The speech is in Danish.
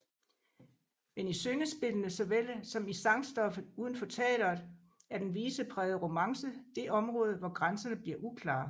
Men i syngespillene såvel som i sangstoffet uden for teatret er den viseprægede romance det område hvor grænserne bliver uklare